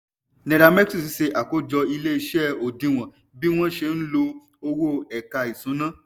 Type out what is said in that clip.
nairametrics ṣe àkójọ ilé iṣé òdiwọ̀n bí wọn ṣe lo owó ẹ̀ka ìṣúná.